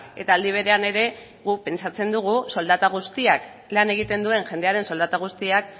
eta aldi berean ere guk pentsatzen dugu soldata guztiak lan egiten duen jendearen soldata guztiak